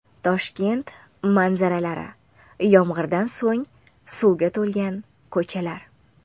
Toshkent manzaralari: Yomg‘irdan so‘ng suvga to‘lgan ko‘chalar .